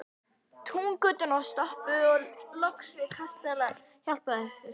Túngötuna og stoppuðum loks við kastala Hjálpræðishersins.